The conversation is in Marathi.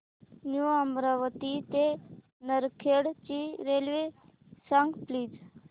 न्यू अमरावती ते नरखेड ची रेल्वे सांग प्लीज